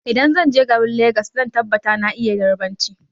Idan zanje garin legas zan tabbata na iya yarbanci